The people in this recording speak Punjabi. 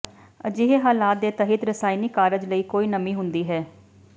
ਅਜਿਹੇ ਹਾਲਾਤ ਦੇ ਤਹਿਤ ਰਸਾਇਣਕ ਕਾਰਜ ਲਈ ਕੋਈ ਨਮੀ ਹੁੰਦੀ ਹੈ